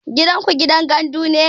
Gidanku gidan gandu ne?